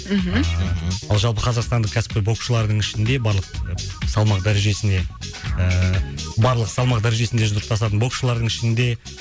мхм ааа жалпы қазақстандық кәсіпқой боксшылардың ішінде барлық салмақ дәрежесіне ыыы барлық салмақ дәрежесінде жұдырықтасатын боксшылардың ішінде